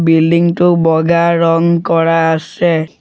Building টো বগা ৰং কৰা আছে।